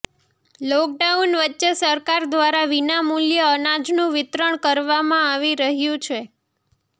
lockdown વચ્ચે સરકાર દ્વારા વિના મૂલ્યે અનાજનું વિતરણ કરવામાં આવી રહ્યું છે